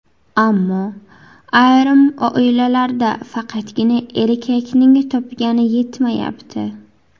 Ammo ayrim oilalarda faqatgina erkakning topgani yetmayapti.